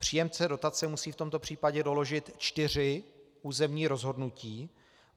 Příjemce dotace musí v tomto případě doložit čtyři územní rozhodnutí.